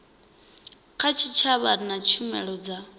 kha tshitshavha na tshumelo dza